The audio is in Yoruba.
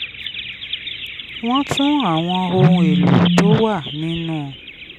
wọ́n tún àwọn ohun èlò tó wà nínú